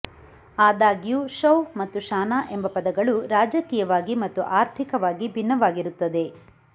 ಆದಾಗ್ಯೂ ಶೌಹ್ ಮತ್ತು ಶಾನಾ ಎಂಬ ಪದಗಳು ರಾಜಕೀಯವಾಗಿ ಮತ್ತು ಆರ್ಥಿಕವಾಗಿ ಭಿನ್ನವಾಗಿರುತ್ತದೆ